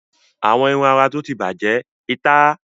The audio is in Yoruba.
Àwọn irun-ara tó ti bàjẹ́, ìta!